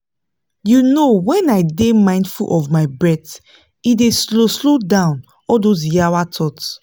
you know when i dey mindful of my breath e dey slow slow down all those yawa thoughts